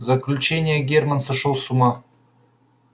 заключение германн сошёл с ума